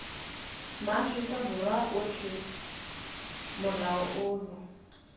maaforika borwa otlhe molao ono